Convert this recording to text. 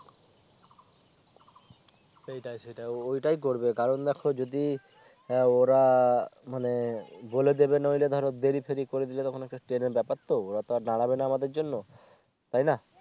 সেইটাই সেইটাই ওটাই করবে কারণ দেখো যদি হ্যাঁ ওরা মানে বলে দেবে নইলে ধরো দেরি ফেরি করে দিলে তখন একটা Train এর ব্যাপার তো ওরা তো আর দাঁড়াবে না আমাদের জন্য তাই না